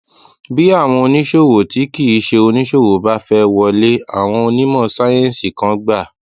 bí àwọn oníṣòwò tí kì í ṣe oníṣòwò bá fé wọlé àwọn onímò sáyéǹsì kan gbà